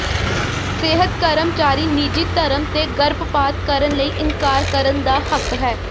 ਸਿਹਤ ਕਰਮਚਾਰੀ ਨਿੱਜੀ ਧਰਮ ਤੇ ਗਰਭਪਾਤ ਕਰਨ ਲਈ ਇਨਕਾਰ ਕਰਨ ਦਾ ਹੱਕ ਹੈ